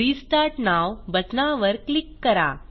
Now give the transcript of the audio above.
restart now बटनावर क्लिक करा